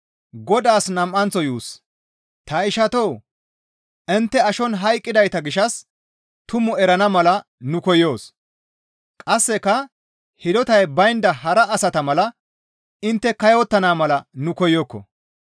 Ta ishatoo! Intte ashon hayqqidayta gishshas tumaa erana mala nu koyokko; qasseka hidotay baynda hara asata mala intte kayottana mala nu koyokko.